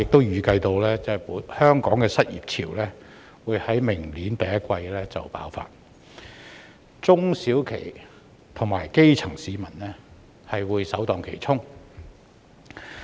預計香港的失業潮會在明年第一季爆發，中小企及基層市民會首當其衝。